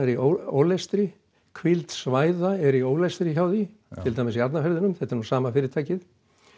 í ólestri hvíld svæða er í ólestri hjá því til dæmis í Hafnarfirðinum þetta er sama fyrirtækið